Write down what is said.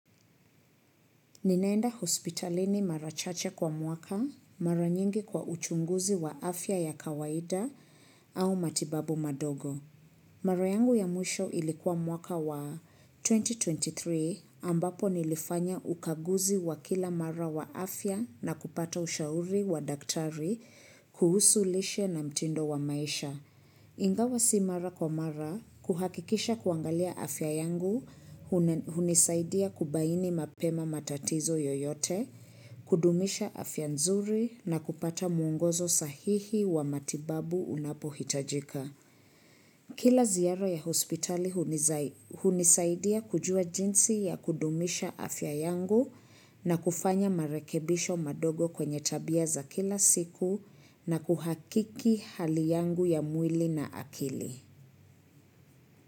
Ninaenda hospitalini mara chache kwa mwaka, mara nyingi kwa uchunguzi wa afya ya kawaida au matibabu madogo. Mara yangu ya mwisho ilikuwa mwaka wa 2023 ambapo nilifanya ukaguzi wa kila mara wa afya na kupata ushauri wa daktari kuhusu lishe na mtindo wa maisha. Ingawa si mara kwa mara kuhakikisha kuangalia afya yangu hunisaidia kubaini mapema matatizo yoyote, kudumisha afya nzuri na kupata mwongozo sahihi wa matibabu unapohitajika. Kila ziara ya hospitali hunisaidia kujua jinsi ya kudumisha afya yangu na kufanya marekebisho madogo kwenye tabia za kila siku na kuhakiki hali yangu ya mwili na akili.